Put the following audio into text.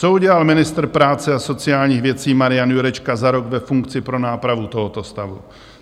Co udělal ministr práce a sociálních věcí Marian Jurečka za rok ve funkci pro nápravu tohoto stavu?